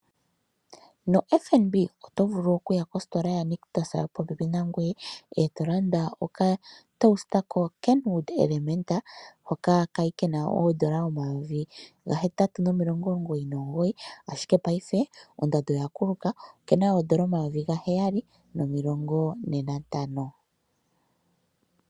NoFNB Otovulu okuya kositola yaNictus popepi nangoye, etolanda okatosta kokenwood elementa hoka kali kena oodola omayovi gahetatu nomilongo omugoyi nomugoyi. Ashike paife ondando oyakuluka okena oodola omayovi gaheyali nomilongo ne nantano.